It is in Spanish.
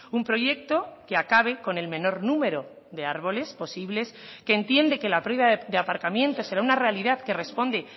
un proyecto que acabe con el menor número de árboles posibles que entiende que la de aparcamientos será una realidad que responde